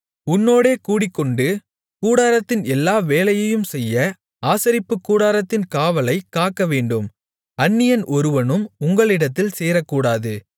உன்னோடே கூடிக்கொண்டு கூடாரத்தின் எல்லா வேலையையும் செய்ய ஆசரிப்புக்கூடாரத்தின் காவலைக் காக்கவேண்டும் அந்நியன் ஒருவனும் உங்களிடத்தில் சேரக்கூடாது